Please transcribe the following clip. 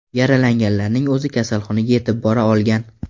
Yaralanganlarning o‘zi kasalxonaga yetib bora olgan.